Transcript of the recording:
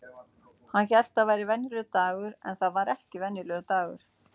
Hann hélt það væri venjulegur dagur en það var ekki venjulegur dagur.